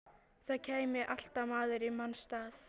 Það kæmi alltaf maður í manns stað.